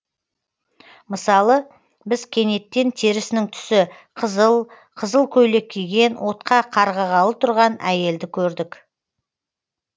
мысалы біз кенеттен терісінің түсі қызыл қызыл көйлек киген отқа қарғығалы тұрған әйелді көрдік